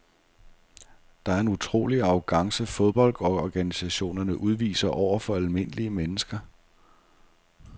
Det er en utrolig arrogance fodboldorganisationerne udviser over for almindelige mennesker.